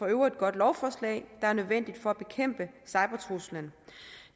øvrigt godt lovforslag der er nødvendigt for at bekæmpe cybertruslen